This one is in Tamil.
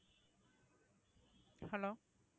hello